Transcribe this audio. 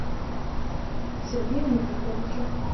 сергею никифоровичу